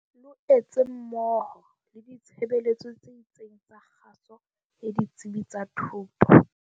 Loetse mmoho le ditshebeletso tse itseng tsa kgaso le ditsebi tsa thuto.